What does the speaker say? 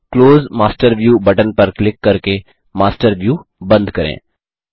close master view button पर click करके master view बंद करें